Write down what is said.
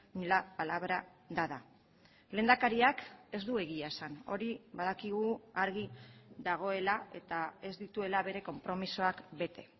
ni la palabra dada lehendakariak ez du egia esan hori badakigu argi dagoela eta ez dituela bere konpromisoak bete